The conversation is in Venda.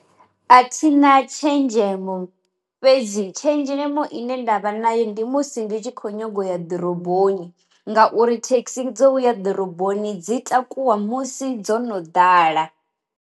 A thina tshenzhemo, fhedzi tshenzhemo ine ndavha nayo ndi musi ndi tshi kho nyaga u ya ḓoroboni ngauri thekhisi dzo uya ḓiroboni dzi takuwa musi dzo no ḓala.